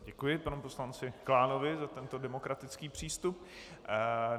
Děkuji panu poslanci Klánovi za tento demokratický přístup.